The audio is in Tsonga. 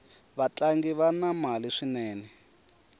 vatlangi vana mali swinene